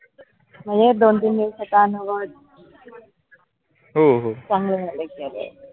दोन, तीन दिवस काम चांगलं झालं